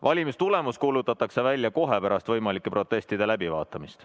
Valimistulemus kuulutatakse välja kohe pärast võimalike protestide läbivaatamist.